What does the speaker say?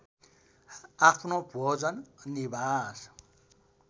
आफ्नो भोजन निवास